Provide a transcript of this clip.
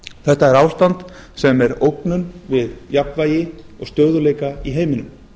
þetta er ástand sem er ógnun við jafnvægi og stöðugleika í heiminum